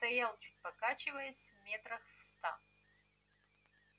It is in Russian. стоял чуть покачиваясь метрах в ста